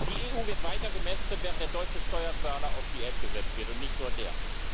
Die EU wird weiter gemästet, während der deutsche Steuerzahler auf Diät gesetzt wird, und nicht nur der.